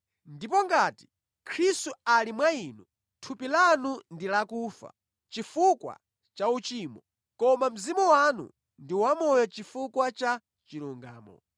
Ndipo ngati Khristu ali mwa inu, thupi lanu ndi lakufa chifukwa cha uchimo, koma mzimu wanu ndi wamoyo chifukwa cha chilungamo.